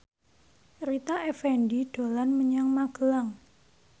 Rita Effendy dolan menyang Magelang